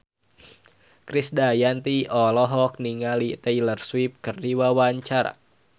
Krisdayanti olohok ningali Taylor Swift keur diwawancara